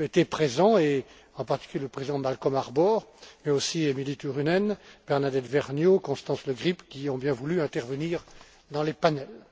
étaient présents, en particulier le président Malcolm Harbour, mais aussi Emilie Turunen, Bernadette Vergnaud, Constance le Grip, qui ont bien voulu intervenir dans les panels.